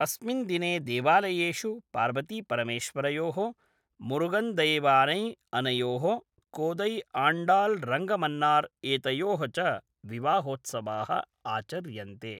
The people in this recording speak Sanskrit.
अस्मिन् दिने देवालयेषु पार्वतीपरमेश्वरयोः, मुरुगन्दैवानै अनयोः, कोदैआण्डाल् रङ्गमन्नार् एतयोः च विवाहोत्सवाः आचर्यन्ते।